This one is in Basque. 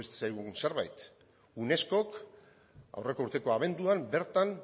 zaigun zerbait unescok aurreko urteko abenduan bertan